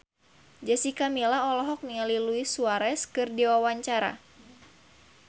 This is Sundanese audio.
Jessica Milla olohok ningali Luis Suarez keur diwawancara